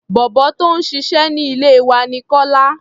Bọ̀bọ́ tó ń ṣiṣẹ́ ní ilé wa ní Kọ́lá.